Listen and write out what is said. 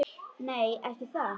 Nei, ekki það.